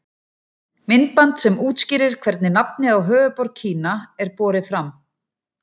Myndband sem útskýrir hvernig nafnið á höfuðborg Kína er borið fram.